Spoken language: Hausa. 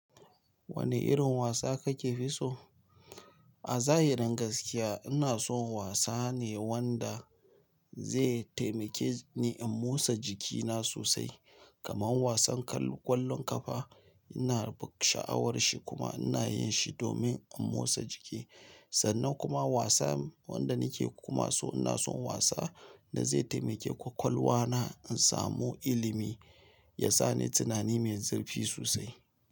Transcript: Wane irin wasa kake fi so? A zahirin gaskiya ina son wasa ne wanda ze taimake ni in motsa jikina sosai kamar wasan kwallon kafa. Ina bu sha'awar shi kuma ina yin shi domin in motsa jiki sannan kuma wasa wanda nake kuma so ina son wasa da zai taimake ƙwaƙwalwa na in samu ilimi, ya sa ni tunani mai zurfi sosai.